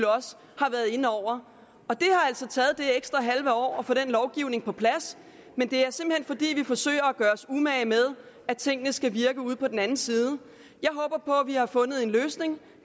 har været inde over og det har altså taget det ekstra halve år at få den lovgivning på plads men det er simpelt hen fordi vi forsøger at gøre os umage med at tingene skal virke ude på den ene side jeg håber på at vi har fundet en løsning